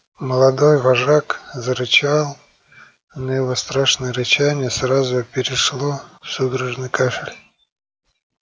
молодой вожак зарычал но его страшное рычание сразу перешло в судорожный кашель